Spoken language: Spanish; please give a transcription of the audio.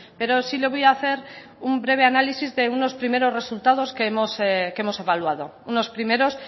pero sí le voy a hacer un breve análisis de unos primeros resultados que hemos evaluado unos primeros